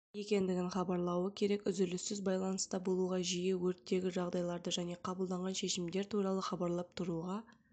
екендігін хабарлауы керек үзіліссіз байланыста болуға жиі өрттегі жағдайларды және қабылданған шешімдер туралы хабарлап тұруға